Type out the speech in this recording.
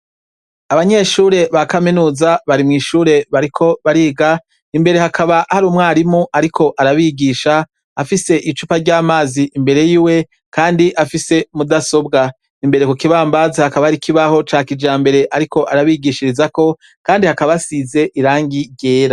Abanyeshure ba kaminuza bari mw'ishure bariko bariga, imbere hakaba hari umwarimu ariko arabigisha, afise icupa ry'amazi imbere yiwe kandi afise mudasobwa. Imbere ku kibambazi haka hari ikibaho ca kijambere ariko arabigishirizako kandi hakaba hasize irangi ryera.